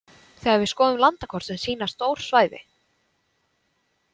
Þegar við skoðum landakort sem sýna stór svæði.